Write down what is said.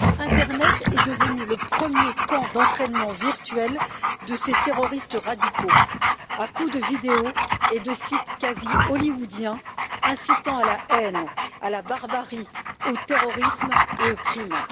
Internet est devenu le premier camp d'entraînement virtuel de ces terroristes radicaux à coups de vidéos et de sites quasi hollywoodiens incitant à la haine, à la barbarie, au terrorisme et au crime.